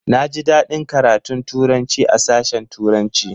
Na ji daɗin karatun Turanci a sashen turanci